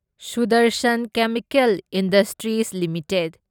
Sudarshan chemical industries limited